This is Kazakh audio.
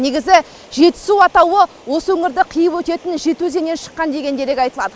негізі жетісу атауы осы өңірді қиып өтетін жеті өзеннен шыққан деген дерек айтылады